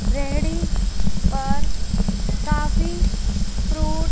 रेहड़ी और काफी फ्रूट --